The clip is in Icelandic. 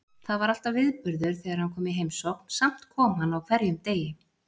Það var alltaf viðburður þegar hann kom í heimsókn, samt kom hann á hverjum degi.